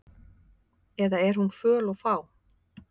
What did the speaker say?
Eða er hún föl og fá?